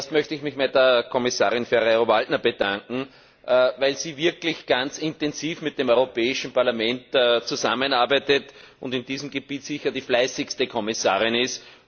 Zuerst möchte ich mich bei der Kommissarin Ferrero Waldner bedanken, weil sie wirklich ganz intensiv mit dem Europäischen Parlament zusammenarbeitet und auf diesem Gebiet sicher die fleißigste Kommissarin ist.